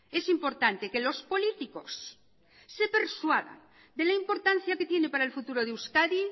es importante que los políticos se persuadan de la importancia que tiene para el futuro de euskadi